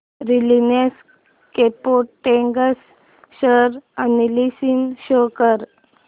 Reliance Chemotex share analysis show कर